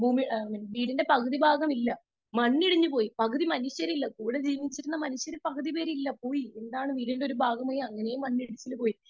Speaker 2 വീടിന്റെ പകുതി ഭാഗം ഇല്ല . മണ്ണിടിഞ്ഞു പോയി . പകുതി മനുഷ്യരില്ല . കൂടെ ജീവിച്ച മനുഷ്യരിൽ പകുതി പേരില്ല പോയി. വീടിന്റെ ഭാഗമേ മണ്ണിടിച്ചിലിൽ പോയി